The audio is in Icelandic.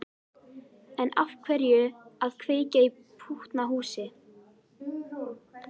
En af hverju að kveikja í pútnahúsi?